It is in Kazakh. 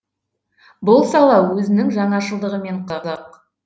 бұл сала өзінің жаңашылдығымен қызық